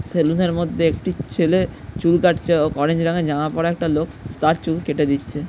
Salon এর মধ্যে একটি ছেলে চুল কাটছে। অ - অরেঞ্জ রঙের জামা পড়া একটা লোক তার চুল কেটে দিচ্ছে ।